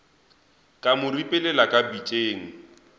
ka mo ripelela ka pitšeng